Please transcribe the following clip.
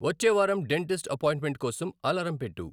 వచ్చే వారం dentist appointment కోసం అలారం పెట్టు